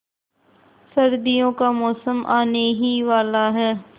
सर्दियों का मौसम आने ही वाला है